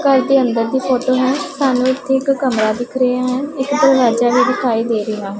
ਘਰ ਦੇ ਅੰਦਰ ਦੀ ਫੋਟੋ ਹੈ ਸਾਨੂੰ ਇੱਥੇ ਇੱਕ ਕਮਰਾ ਦਿਖ ਰਿਹੇ ਹੈਂ ਇੱਕ ਦਰਵਾਜ਼ਾ ਵੀ ਦਿਖਾਈ ਦੇ ਰਹੇ ਹਨ।